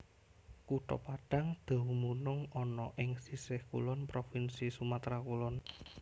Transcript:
Kutha Padang dumunung ana ing sisih kulon Provinsi Sumatra Kulon